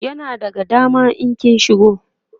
yana daga dama in kin shigo